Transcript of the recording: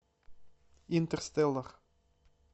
интерстеллар